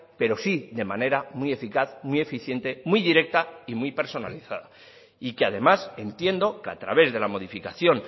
pero sí de manera muy eficaz muy eficiente muy directa y muy personalizada y que además entiendo que a través de la modificación